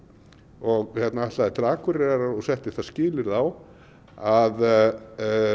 og ætlaðir til Akureyrar og settir það skilyrði á að